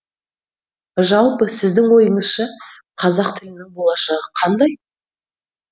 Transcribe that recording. жалпы сіздің ойыңызша қазақ тілінің болашағы қандай